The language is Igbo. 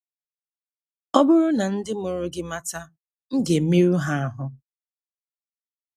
Ọ bụrụ na ndị mụrụ gị mata, m ga - emerụ ha ahụ́. ”